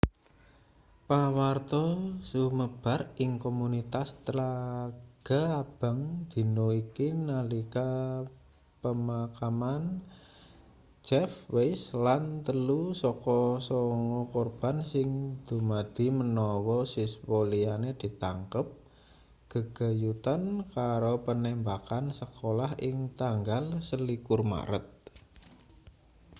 pawarta sumebar ing komunitas tlaga abang dina iki nalika pemakaman jeff weise lan telu saka sanga korban sing dumadi menawa siswa liyane ditangkap gegayutan karo penembakan sekolah ing tanggal 21 maret